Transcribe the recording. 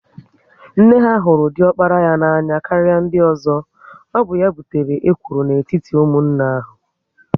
Nne ha hụrụ diokpara ya n'anya karịa ndị ozo, ọ bụ ya butere ekworo n'etiti ụmụnne ahu